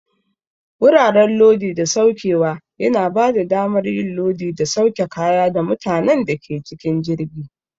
Wuraren Lodi da Saukewa yana bada damar yin lodi da sauke kaya da mutanen da ke cikin jirgi.